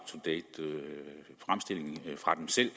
to date fremstilling